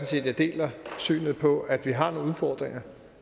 set at jeg deler synet på at vi har nogle udfordringer